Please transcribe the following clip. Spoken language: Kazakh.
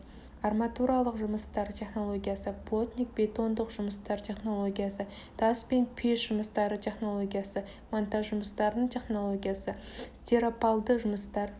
арматуралық жұмыстар технологиясы плотник-бетондық жұмыстар технологиясы тас және пеш жұмыстары технологиясы монтаж жұмыстарының технологиясы стиропалды жұмыстар